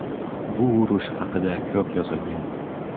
Bu urush haqida ko‘p yozilgan.